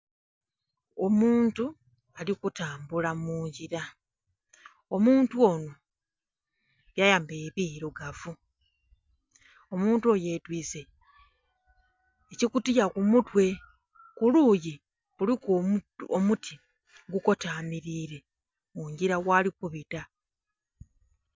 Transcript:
Omuntu ali kutambula mu ngira. Omuntu ono byayambaile birugavu. Omuntu oyo yetwiise ekikutiya ku mutwe. Ku luuyi kuliku omuti ogukotamilire mu ngira ghali kubita.